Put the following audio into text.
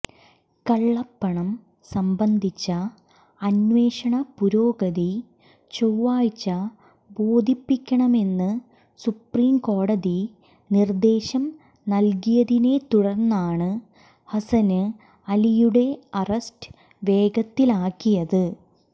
കള്ളപ്പണം സംബന്ധിച്ച അന്വേഷണ പുരോഗതി ചൊവ്വാഴ്ച ബോധിപ്പിക്കണമെന്ന് സുപ്രീംകോടതി നിര്ദേശം നല്കിയതിനെത്തുടര്ന്നാണ് ഹസന് അലിയുടെ അറസ്റ്റ് വേഗത്തിലാക്കിയത്